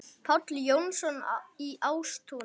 Páll Jónsson í Ástúni